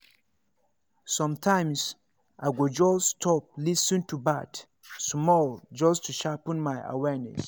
sometimes i go just stop lis ten to birds small just to sharpen my awareness.